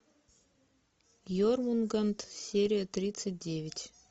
ермунганд серия тридцать девять